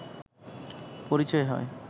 পরিচয় হয়